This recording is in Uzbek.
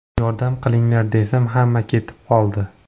Yordam qilinglar desam, hamma ketib qoldi.